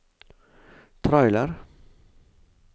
trailer